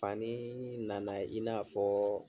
Faniii nana i n'a fɔɔɔ.